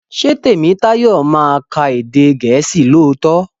Ṣé Tèmítáyọ̀ ma ka èdè gèésì lóòtó?